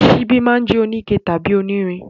Ṣíbí máa jẹ́ oníke tàbí onírin.